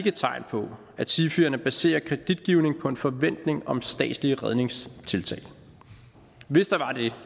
er tegn på at sifierne baserer kreditgivning på en forventning om statslige redningstiltag hvis der var det